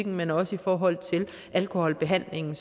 men også i forhold til alkoholbehandlingen